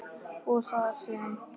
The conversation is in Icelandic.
og þar sem